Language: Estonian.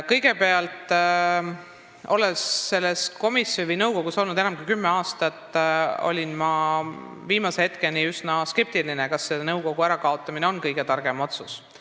Kõigepealt, olles selles nõukogus olnud enam kui kümme aastat, olin ma viimase hetkeni üsna skeptiline, kas selle nõukogu tegevuse lõpetamine on kõige targem otsus.